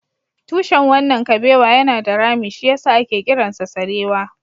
Tushen wannan kabewa yana da rami, shi ya sa ake kiransa sarewa